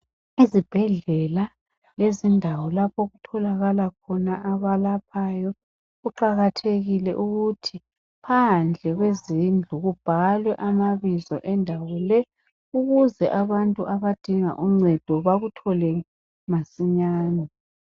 Ezibhedlela lezindawo lapho okutholakala khona abalaphayo kuqakathekile ukuthi phandle kwezindlu kubhalwe amabizo endawo le ukuze abantu abadinga uncedo bakuthole masinyane.